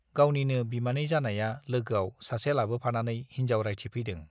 गावनिनो बिमानै जानाया लोगोआव सासे लाबोफानानै हिन्जाव रायथिफैदों।